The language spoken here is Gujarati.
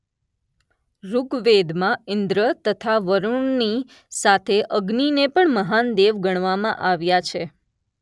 ઋગવેદમાં ઇન્દ્ર તથા વરૂણની સાથે અગ્નિને પણ મહાન દેવ ગણવામાં આવ્યા છે